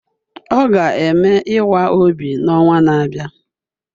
Ọ ga-eme ịwa obi n'ọnwa na-abịa